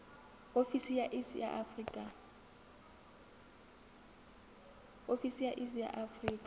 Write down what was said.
ofisi ya iss ya afrika